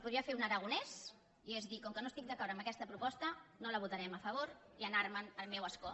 podria fer un aragonès i és dir com que no estic d’acord amb aquesta proposta no la votarem a favor i anar·me’n al meu escó